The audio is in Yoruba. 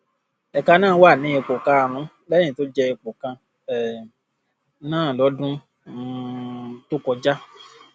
ẹka náà wà ní ipò karùnún lẹyìn tó jẹ ipò kan um náà lọdún um tó kọjá